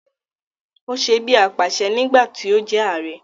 Ó se bí apàṣẹ nígbà tí ó jẹ ààrẹ